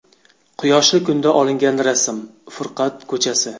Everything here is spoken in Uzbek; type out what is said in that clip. Quyoshli kunda olingan rasm Furqat ko‘chasi.